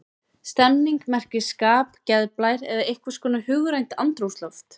Stemning merkir skap, geðblær eða einhvers konar hugrænt andrúmsloft.